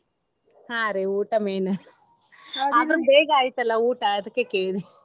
ಹಾ ರೀ ಊಟಾ main . ಆದ್ರ ಬೇಗಾ ಆಯ್ತಲ್ಲಾ ಊಟಾ ಅದ್ಕ ಕೇಳೀನಿ.